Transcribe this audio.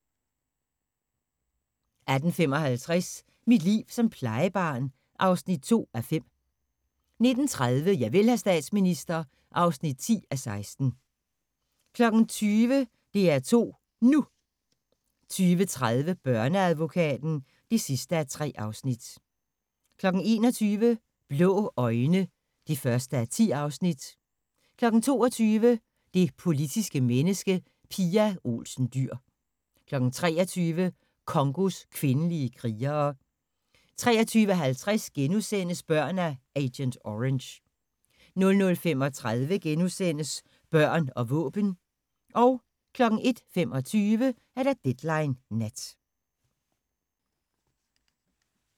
18:55: Mit liv som plejebarn (2:5) 19:30: Javel, hr. statsminister (10:16) 20:00: DR2 NU 20:30: Børneadvokaten (3:3) 21:00: Blå øjne (1:10) 22:00: Det politiske menneske – Pia Olsen Dyhr 23:00: Congos kvindelige krigere 23:50: Børn af agent orange * 00:35: Børn og våben * 01:25: Deadline Nat